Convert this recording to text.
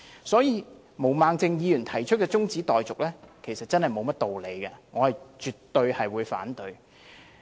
所以，毛孟靜議員提出中止待續議案，其實真是沒有甚麼道理，我絕對反對。